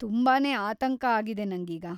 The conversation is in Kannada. ತುಂಬಾನೇ ಆತಂಕ ಆಗಿದೆ ನಂಗೀಗ.